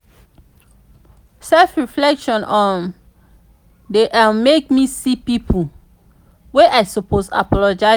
self-reflection um dey um make me see pipo wey i suppose apologize to.